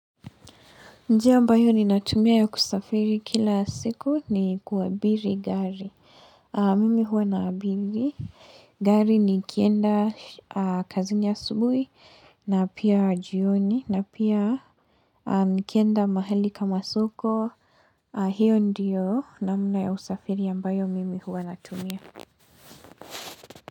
Njia ambayo ninatumia ya kusafiri kila siku ni kuabiri gari. Mimi huwa nabiri. Gari nikienda kazini asubui na pia jioni na pia kienda mahali kama soko. Hio ndiyo namna ya usafiri ambayo mimi huwa natumia.